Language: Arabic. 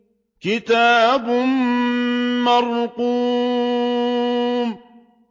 كِتَابٌ مَّرْقُومٌ